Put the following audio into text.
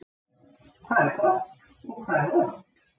Hvað er gott og hvað er vont?